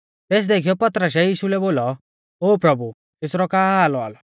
तेस देखीयौ पतरसै यीशु लै बोलौ ओ प्रभु एसरौ का हाल औआ लौ